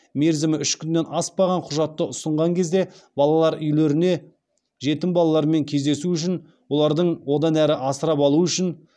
мерзімі үш күннен аспаған құжатты ұсынған кезде балалар үйлеріне жетім балалармен кездесу үшін олардың одан әрі асырап алу үшін